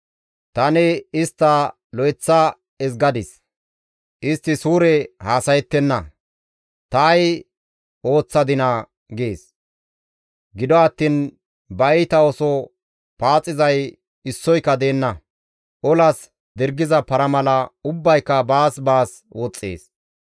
Tani istta lo7eththa ezgadis; istti suure haasayettenna; ta ay ooththadinaa?› gees. Gido attiin ba iita ooso paaxizay issoyka deenna; olas dirgiza para mala ubbayka baas baas woxxees.